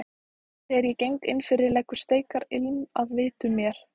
Þegar ég geng innfyrir leggur steikarilm að vitum mér.